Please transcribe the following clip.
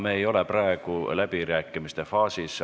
Me ei ole praegu läbirääkimiste faasis.